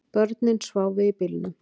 Börnin sváfu í bílnum